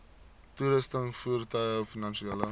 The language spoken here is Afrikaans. toerusting voertuie finansiële